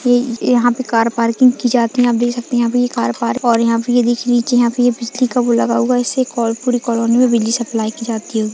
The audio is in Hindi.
ये यहाँ पे कार पार्किंग की जाती है आप देख सकते यहाँ पे कार पार्किंग और यहाँ पे यह देखिए नीचे यहाँ पे बिजली का वो लगा हुआ है इसे कॉल पुरी कॉलोनी में बिजली सप्लाई की जाती होगी।